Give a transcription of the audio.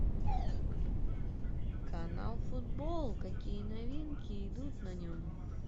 канал футбол какие новинки идут на нем